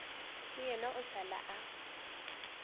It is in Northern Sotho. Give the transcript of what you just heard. le yena a šala a